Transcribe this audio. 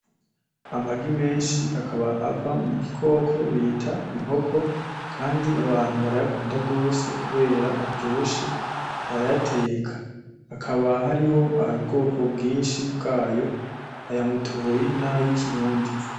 Amagi menshi akaba ava mu gikoko bita inkoko kandi abantu barayakunda rwose kubera aryoshe, barayateka. Hakaba hariho ubwoko bwinshi bwayo, aya mutoyi nay'ikirundi.